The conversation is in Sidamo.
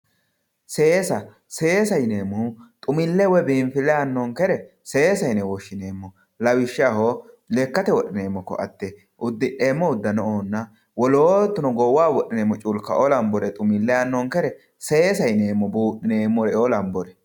Seessa, seessa yineemmohu xumile woyi biinfile aanonkere seessa yine woshshineemmo lawishshaho lekkate wodhineemmo koatte uddi'neemmo udano"onna wolootu goowaho wodhimeemmo culkao lanbore xumile aanonkere seessaho yineemmo budhineemmore lambore.